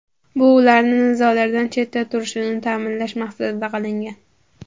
Bu ularni nizolardan chetda turishini ta’minlash maqsadida qilingan.